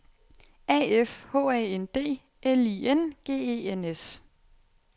A F H A N D L I N G E N S